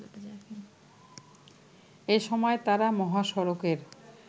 এ সময় তারা মহাসড়কের